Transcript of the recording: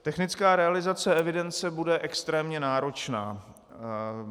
Technická realizace evidence bude extrémně náročná.